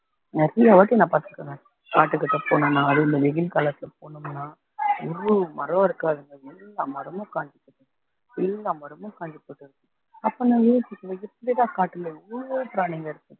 நிறையவாட்டி நான் பாத்துக்குறேன்ங்க காட்டுக்கிட்ட போனா அதுவும் இந்த வெயில் காலத்துல போனோம்னா ஒரு மரம் இருக்காதுங்க எல்லா மரமும் காஞ்சு போச்சுங்க எல்லா மரமும் காஞ்சு போயிருக்கும் அப்போ நான் யோசிப்பேன் எப்பிடிடா காட்டுல இவ்வளவோ பிராணிங்க இருக்குது